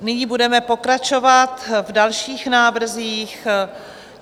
Nyní budeme pokračovat v dalších návrzích.